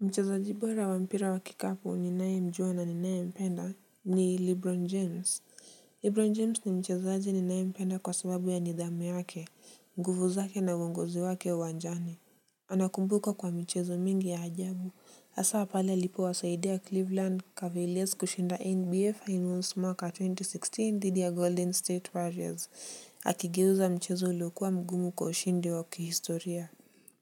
Mchezaji bora wa mpira wa kikapo ninayemjua na ninayempenda ni Lebron James. Lebron James ni mchezaaji ninayempenda kwa sababu ya nidhamu yake, mguvu zake na uongozi wake uwanjani. Anakumbukwa kwa michezo mingi ya ajabu haswa pale alipowasaidia Cleveland Cavaliers kushinda NBA finals mwaka wa elfu mbili na kumi na sita dhidi ya Golden State Warriors akigeuza mchezo uliokuwa mgumu kwa ushindi wa kihistoria.